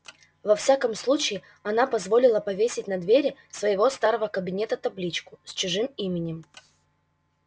во всяком случае она позволила повесить на двери своего старого кабинета табличку с чужим именем